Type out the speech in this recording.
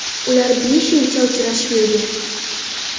Ular besh yilcha uchrashib yurgan.